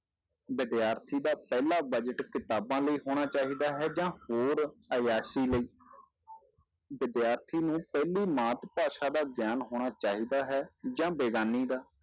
ਵਿਦਿਆਰਥੀ ਦਾ ਪਹਿਲਾ budget ਕਿਤਾਬਾਂ ਲਈ ਹੋਣਾ ਚਾਹੀਦਾ ਹੈ ਜਾਂ ਹੋਰ ਆਯਾਸੀ ਲਈ ਵਿਦਿਆਰਥੀ ਨੂੰ ਪਹਿਲੀ ਮਾਤ ਭਾਸ਼ਾ ਦਾ ਗਿਆਨ ਹੋਣਾ ਚਾਹੀਦਾ ਹੈ ਜਾਂ ਬੇਗ਼ਾਨੀ ਦਾ।